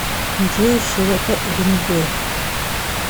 джой широта уренгой